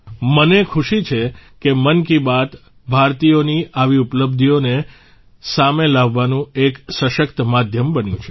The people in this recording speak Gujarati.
મને ખુશી છે કે મન કી બાત ભારતીયોની આવી ઉપલબ્ધિઓને સામે લાવવાનું એક સશક્ત માધ્યમ બન્યું છે